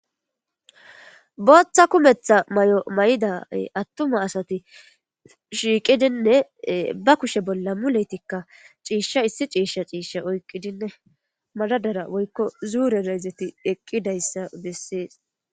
Booththa kumeththa Mayo mayada atuma asati shiqidinne ba kushshe bolla muletikka cissha issi issi cishsha oyqidinne magadora woyikko madadarade eqidayssa besses